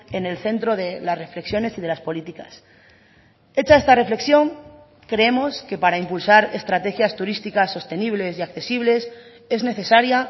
en el centro de las reflexiones y de las políticas hecha esta reflexión creemos que para impulsar estrategias turísticas sostenibles y accesibles es necesaria